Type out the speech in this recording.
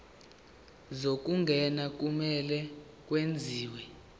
zokungena kumele kwenziwe